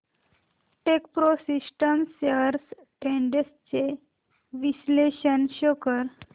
Techpro systems shares trends चे विश्लेषण show कर